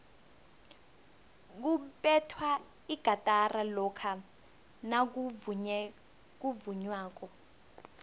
kubethwa igatara lokha nakuvunywako